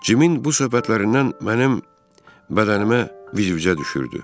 Cimin bu söhbətlərindən mənim bədənimə vizvizə düşürdü.